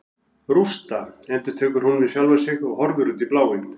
Rústa, endurtekur hún við sjálfa sig og horfir út í bláinn.